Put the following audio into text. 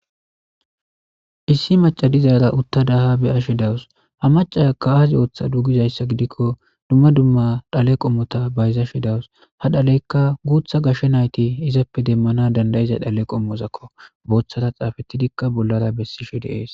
issi macadizaara utta daha beyashi dawus ha macasakka aazi ooththa duugizayssa gidikko dumma dumma dhale qommota bayza shi dawus ha dhaleykka guutha gashshe nayti izappe demmana dandayiza dhale qommozakko booththata xaafetidikka bollara bessishe deees